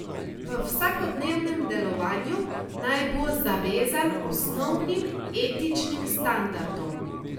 V vsakodnevnem delovanju naj bo zavezan osnovnim etičnim standardom.